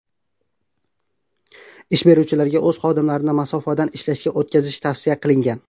Ish beruvchilarga o‘z xodimlarini masofadan ishlashga o‘tkazish tavsiya qilingan .